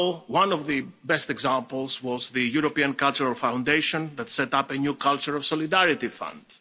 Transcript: One of the best examples was the European Cultural Foundation that set up a new Culture of Solidarity Fund.